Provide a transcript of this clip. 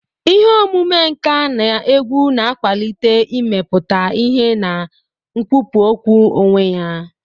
Ihe omume nka na egwu na-akwalite imeputa ihe na nkwupu okwu onwe ya.